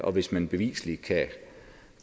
og hvis man beviseligt